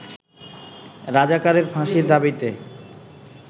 রাজাকারের ফাঁসির দাবিতে